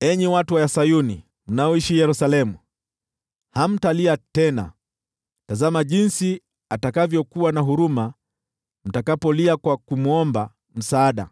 Enyi watu wa Sayuni, mnaoishi Yerusalemu, hamtalia tena. Tazameni jinsi atakavyokuwa na huruma mtakapolia kwa kumwomba msaada!